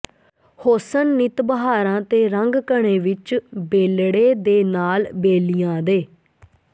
ਹੋਸਨ ਨਿਤ ਬਹਾਰਾਂ ਤੇ ਰੰਗ ਘਨੇ ਵਿੱਚ ਬੇਲੜੇ ਦੇ ਨਾਲ ਬੇਲੀਆਂ ਦੇ